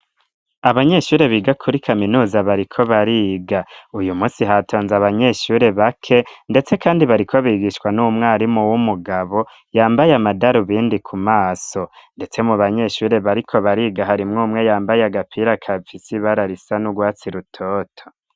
Abanyeshure, biga kuri kaminuza, bariko bariga; uyu munsi, hatonze abanyeshure bake, ndetse kandi, bariko bigishwa n'umwarimu w'umugabo, yambaye amadarubindi kumaso; ndetse mu banyeshure, bariko bariga, harimwo umwe, yambaye agapira, gafise ibara, risa n'urwatsi rutoto.